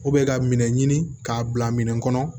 ka minɛ ɲini k'a bila minɛ kɔnɔ